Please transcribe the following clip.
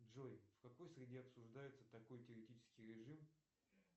джой в какой среде обсуждается такой теоретический режим